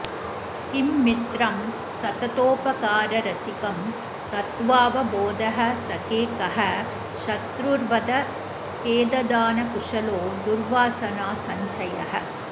किं मित्रं सततोपकाररसिकं तत्त्वावबोधःसखे कः शत्रुर्वद खेददानकुशलो दुर्वासनासञ्चयः